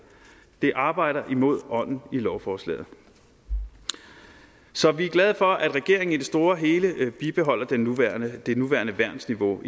det arbejder imod ånden i lovforslaget så vi er glade for at regeringen i det store og hele bibeholder det nuværende det nuværende værnsniveau